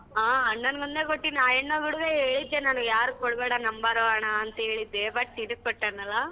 ಹಾ ಅಣ್ಣನ್ಗ್ ಒಂದೇ ಕೊಟ್ಟಿದ್ ನಾ ಅಣ್ಣ ಗೂಡ್ವೇ ಹೇಳಿದ್ದೆ ನಾನು ಯಾರಿಗ್ ಕೊಡ್ಬೇಡ number ಅಣ್ಣ ಅಂತ್ ಹೇಳಿದ್ದೆ but ನಿನಿಗ್ ಕೊಟ್ಟಾನಲ್ಲ.